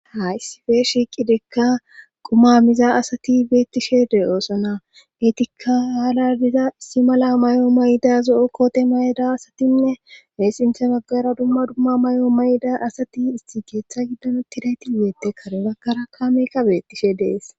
ha issife shiiqidekka quma miza asati beettishe de oosona geetikka haaladiza issi mala may7o mayda zo7o koote mayda asatinne heessinthe baggara dumma dumma may7o mayda asati isti geeththa giddano tidayti yeette karebakkara kameykka beettishe dees